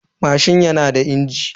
Mashin na da injin.